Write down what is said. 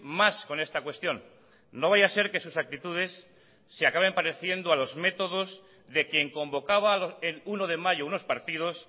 más con esta cuestión no vaya a ser que sus actitudes se acaben pareciendo a los métodos de quien convocaba el uno de mayo unos partidos